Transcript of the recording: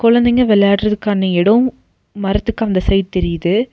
கொழந்தைங்க வெளையாடுறதுக்கான எடோம் மரத்துக்கு அந்த சைடு தெரியிது.